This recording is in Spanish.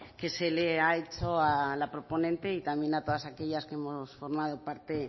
que se le ha hecho a la proponente y también a todas aquellas que hemos formado parte